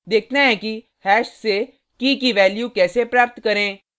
देखते हैं कि हैश से की key की वैल्यू कैसे प्राप्त करें